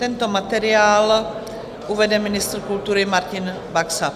Tento materiál uvede ministr kultury Martin Baxa.